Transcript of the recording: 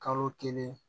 Kalo kelen